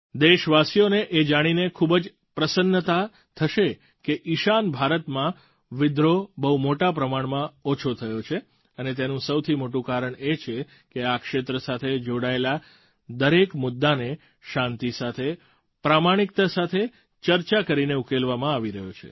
દેશવાસીઓને એ જાણીને ખૂબ જ પ્રસન્નતા થશે કે ઈશાન ભારતમાં વિદ્રોહ બહુ મોટા પ્રમાણમાં ઓછો થયો છે અને તેનું સૌથી મોટું કારણ એ છે કે આ ક્ષેત્ર સાથે જોડાયેલા દરેક મુદ્દાને શાંતિ સાથે પ્રમાણિકતા સાથે ચર્ચા કરીને ઉકેલવામાં આવી રહ્યો છે